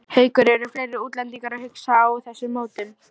Haukur: Eru fleiri útlendingar að hugsa á þessum nótum?